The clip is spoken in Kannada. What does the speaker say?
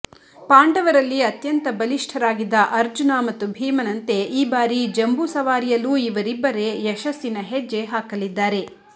ಪಾಂಡವರದಲ್ಲಿ ಅತ್ಯಂತ ಬಲಿಷ್ಠರಾಗಿದ್ದ ಅರ್ಜುನ ಮತ್ತು ಭೀಮನಂತೆ ಈ ಬಾರಿ ಜಂಬೂಸವಾರಿಯಲ್ಲೂ ಇವರಿಬ್ಬರೇ ಯಶಸ್ಸಿನ ಹೆಜ್ಜೆ ಹಾಕಲಿದ್ದಾರೆ